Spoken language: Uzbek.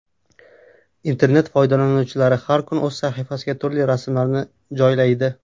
Internet foydalanuvchilari har kuni o‘z sahifasiga turli rasmlarni joylaydi.